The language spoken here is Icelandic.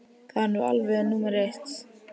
Það er nú alveg númer eitt.